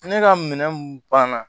Ne ka minɛn ban na